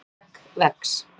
skegg vex